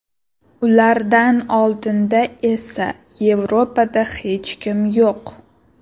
Ulardan oldinda esa Yevropada hech kim yo‘q.